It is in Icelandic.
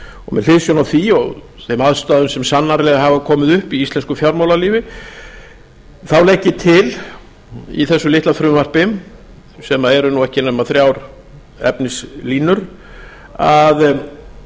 og með hliðsjón af því og þeim aðstæðum sem sannarlega hafa komið upp í íslensku fjármálalífi þá legg ég til í þessu litla frumvarpi sem eru nú ekki nema þrjár efnislínur að